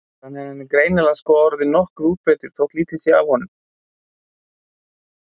Þannig að hann er greinilega sko orðinn nokkuð útbreiddur þótt lítið sé af honum.